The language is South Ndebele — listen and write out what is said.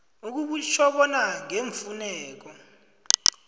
okutjho bona ngeemfuneko